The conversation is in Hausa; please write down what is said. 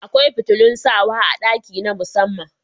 Akwai fitilun sawa a ɗaki na musamman